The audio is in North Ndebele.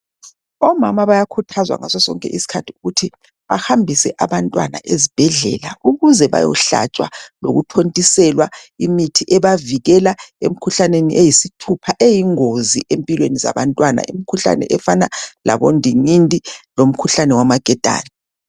Omama bayakhuthazwa ngaso sonke isikhathi ukuthi bahambise abantwana ezibhedlela ukuze bayohlatshwa lokuthontiselwa imithi ebavikela emkhuhlaneni eyisithupha eyingozi empilweni zabantwana imkhuhlane efana labondingindi lomkhuhlane wamaketane.